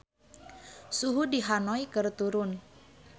Suhu di Hanoi keur turun